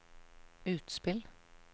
utspill